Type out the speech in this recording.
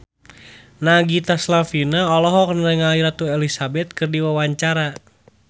Nagita Slavina olohok ningali Ratu Elizabeth keur diwawancara